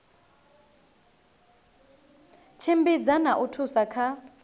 tshimbidza na u thusa kha